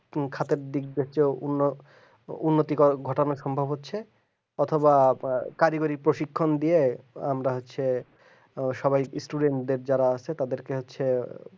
খাটের দিক বছ অন্য উন্নতি কর ঘটনা সম্ভব হচ্ছে অথবা কারিগরিকে শিক্ষণ দিয়ে আমরা হচ্ছে সবাই student দের যারা আছে তাদেরকে হচ্ছে